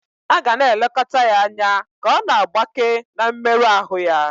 A ga na-elekọta ya anya ka ọ na-agbake na mmerụ ahụ ya.